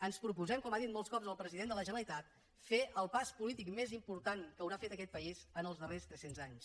ens proposem com ha dit molts cops el president de la generalitat fer el pas polític més important que haurà fet aquest país en els darrers tres cents anys